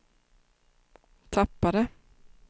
tappade